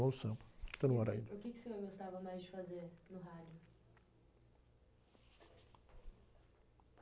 do Samba, que está no ar ainda. o quê que o senhor gostava mais de fazer no rádio?